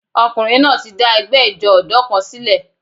Ọkùnrin náà ti dá ẹgbẹ́ ijó ọ̀dọ́ kan sílẹ̀.